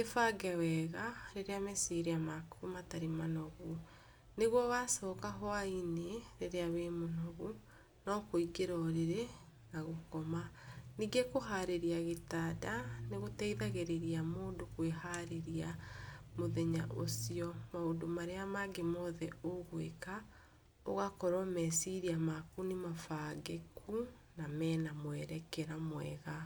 ĩbange wega rĩrĩa meciria maku matarĩ manogu. Nĩguo wacoka hwa-inĩ rĩrĩa wĩ mũnogu, no kũingĩra ũrĩrĩ na gũkoma. Ningĩ kũhũrĩria gĩtanda nĩgũteithagirĩria mũndũ kwĩharĩria mũthenya ũcio. Maũndũ marĩa mangĩ mothe ũgwĩka ũgakorwo meciria maku nĩmabangĩku na mena mwerekera mwega.